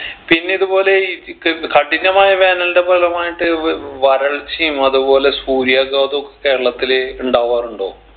പിന്നെ ഇത്പോലെ ഈ ക് കഠിനമായ വേനലിൻ്റെ ഫലമായിട്ട് വ് വരൾച്ചയും അത്പോലെ സൂര്യാഘാതൊക്കെ കേരളത്തില് ഇണ്ടാവാറുണ്ടോ